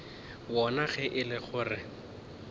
wona ge e le gore